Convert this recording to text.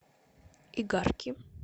игарки